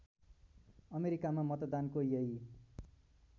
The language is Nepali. अमेरिकामा मतदानको यही